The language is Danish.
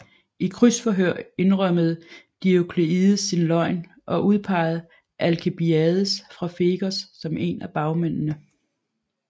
I krydsforhør indrømmede Diokleides sin løgn og udpegede Alkibiades fra Fegos som en af bagmændene